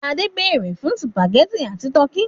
Yóó béèrè fún sùpàgẹ́tì and tọ́kì.